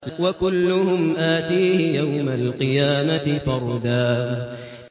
وَكُلُّهُمْ آتِيهِ يَوْمَ الْقِيَامَةِ فَرْدًا